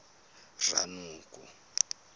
ranoko